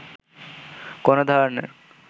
কোনো ধরনের